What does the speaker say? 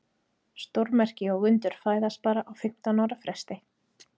Stórmerki og undur fæðast bara á fimmtán ára fresti.